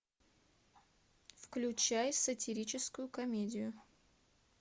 включай сатирическую комедию